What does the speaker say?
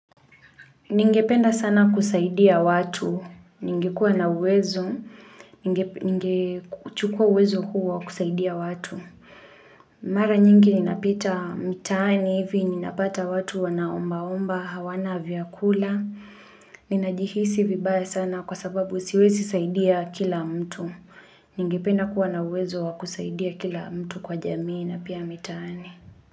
Ningependa sana kusaidia watu, ningekuwa na uwezo, ningechukua uwezo huo wakusaidia watu. Mara nyingi ninapita mtaani hivi, ninapata watu wanaomba-omba, hawana viakula. Ninajihisi vibaya sana kwa sababu siwezi saidia kila mtu. Ningependa kuwa na uwezo wa kusaidia kila mtu kwa jamii na pia mitaani.